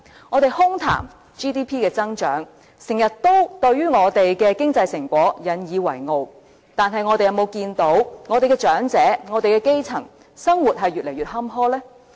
我們空談 GDP 的增長，時常對我們的經濟成果引以為傲，但我們有否看到長者及基層市民，生活越來越坎坷呢？